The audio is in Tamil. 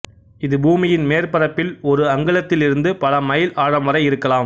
இது பூமியின் மேற்பரப்பில் ஒரு அங்குலத்திலிருந்து பல மைல் ஆழம் வரை இருக்கலாம்